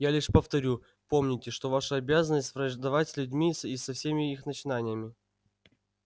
я лишь повторю помните что ваша обязанность враждовать с людьми и со всеми их начинаниями